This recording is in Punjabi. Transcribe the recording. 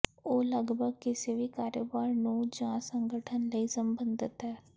ਉਹ ਲਗਭਗ ਕਿਸੇ ਵੀ ਕਾਰੋਬਾਰ ਨੂੰ ਜ ਸੰਗਠਨ ਲਈ ਸੰਬੰਧਤ ਹਨ